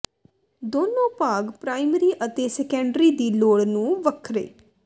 ਦੋਨੋ ਭਾਗ ਪ੍ਰਾਇਮਰੀ ਅਤੇ ਸੈਕੰਡਰੀ ਦੀ ਲੋੜ ਨੂੰ ਵੱਖਰੇ